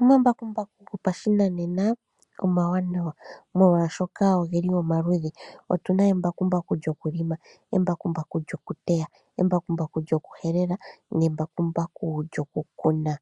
Omambakumbaku gopashinanena omawanawa molwashoka oge li omaludhi. Otu na embakumbaku lyokulima, embekumbaku lyokuteya, embakumbaku lyokuhelela nembakumbaku lyokukuna.